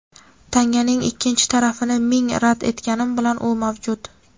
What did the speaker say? Tanganing ikkinchi tarafini ming rad etganim bilan u mavjud.